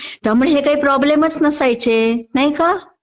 त्यामुळे हे काही प्रोब्लेम्सचं नसायचे, नाही का?